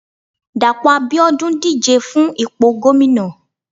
Dapo abiodun díje fún ìpo gomina